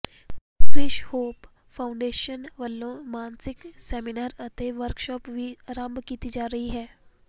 Krish hope foundation ਵਲੋਂ ਮਾਸਿਕ seminar ਅਤੇ ਵਰਕਸ਼ਾਪ ਵੀ ਆਰੰਭ ਕੀਤੀ ਜਾ ਰਹੀ ਹੈ